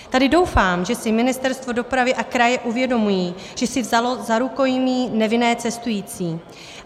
Tady doufám, že si Ministerstvo dopravy a kraje uvědomují, že si vzalo za rukojmí nevinné cestující.